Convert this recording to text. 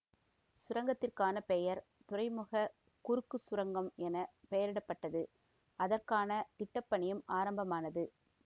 சுரங்கத்திற்கான பெயர் துறைமுக குறுக்குச் சுரங்கம் என பெயரிட பட்டது அதற்கான திட்டப்பணியும் ஆரம்பமானது